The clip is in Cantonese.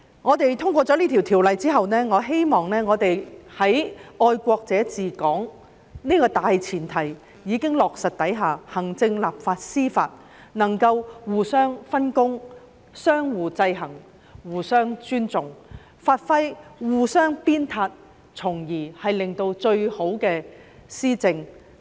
在通過《條例草案》之後，我希望在"愛國者治港"原則已經落實的情況下，行政、立法和司法能夠互相分工，相互制衡，互相尊重，互相鞭策，從而為市民作出最好的施政。